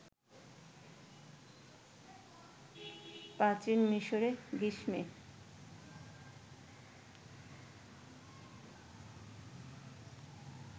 প্রীচন মিশরে গ্রীষ্মে